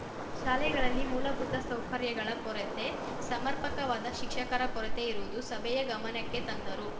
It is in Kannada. ಶಾಲೆಗಳಲ್ಲಿ ಮೂಲಭೂತ ಸೌಕರ್ಯಗಳ ಕೊರತೆ ಸಮರ್ಪಕವಾದ ಶಿಕ್ಷಕರ ಕೊರತೆ ಇರುವುದು ಸಭೆಯ ಗಮನಕ್ಕೆ ತಂದರು